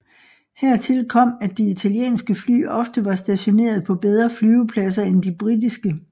Hertil kom at de italienske fly ofte var stationeret på bedre flyvepladser end de britiske